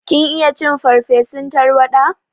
Kin iya cin farsefun tarwaɗa?